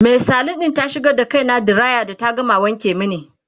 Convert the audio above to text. Mai salon ɗin ta shigar da kaina diraya da ta gama wanke mani